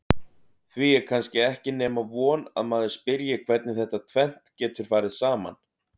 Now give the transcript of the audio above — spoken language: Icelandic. Því er kannski ekki nema von að maður spyrji hvernig þetta tvennt geti farið saman?